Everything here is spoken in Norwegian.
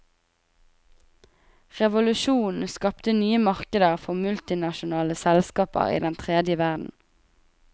Revolusjonen skapte nye markeder for multinasjonale selskaper i den tredje verden.